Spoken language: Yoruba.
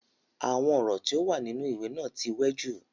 Àwọn ọ̀rọ̀ tí o wà nínú ìwé náà ti wẹ jù.